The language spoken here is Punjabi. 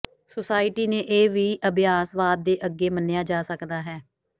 ਸੁਸਾਇਟੀ ਨੇ ਇਹ ਵੀ ਅਭਿਆਸਵਾਦ ਦੇ ਅੱਗੇ ਮੰਨਿਆ ਜਾ ਸਕਦਾ ਹੈ